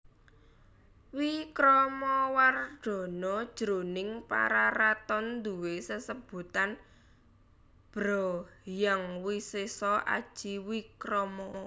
Wikramawardhana jroning Pararaton duwé sesebutan Bhra Hyang Wisesa Aji Wikrama